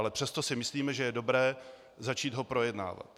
Ale přesto si myslíme, že je dobré začít ho projednávat.